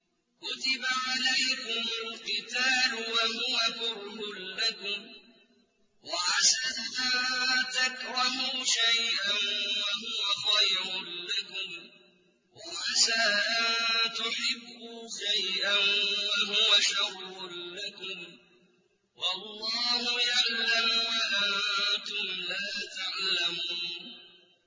كُتِبَ عَلَيْكُمُ الْقِتَالُ وَهُوَ كُرْهٌ لَّكُمْ ۖ وَعَسَىٰ أَن تَكْرَهُوا شَيْئًا وَهُوَ خَيْرٌ لَّكُمْ ۖ وَعَسَىٰ أَن تُحِبُّوا شَيْئًا وَهُوَ شَرٌّ لَّكُمْ ۗ وَاللَّهُ يَعْلَمُ وَأَنتُمْ لَا تَعْلَمُونَ